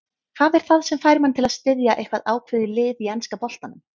Hvað er það sem fær mann til að styðja eitthvað ákveðið lið í enska boltanum?